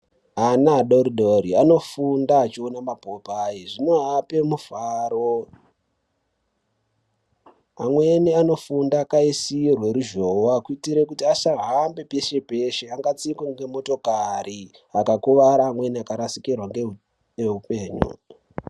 Ana adoridori dori anofunda achiona mapopai zvinoape mufaro, amweni anofunda akaisirwe ruzhoowa kuitire kuti asahambe peshe peshe angatdikwe ngemotokari vakakuvara vamweni vakarasikirwa ngeupenyu.